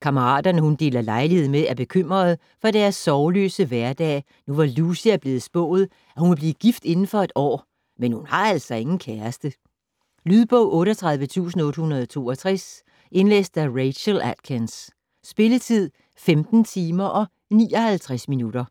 Kammeraterne, hun deler lejlighed med, er bekymrede for deres sorgløse hverdag, nu hvor Lucy er blevet spået at hun vil blive gift inden for et år, men hun har altså ingen kæreste. Lydbog 38862 Indlæst af Rachel Atkins. Spilletid: 15 timer, 59 minutter.